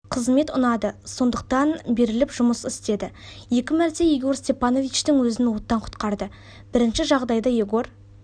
қызмет ұнады сондықтан беріліп жұмыс істеді екі мәрте егор степановичтің өзін оттан құтқарды бірінші жағдайда егор